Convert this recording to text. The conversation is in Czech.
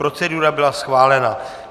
Procedura byla schválena.